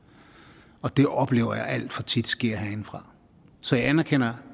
og det oplever jeg alt for tit sker herindefra så jeg anerkender